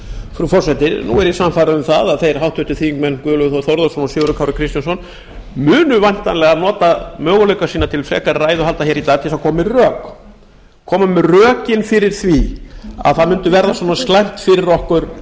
frú forseti nú er ég sannfærður um að þeir háttvirtir þingmenn guðlaugur þór þórðarson og sigurður kári kristjánsson munu væntanlega nota möguleika sína til frekari ræðuhalda hér í dag til að koma með rök koma með rökin fyrir því að það myndi verða svona slæmt fyrir okkur